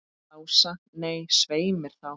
Lása, nei, svei mér þá.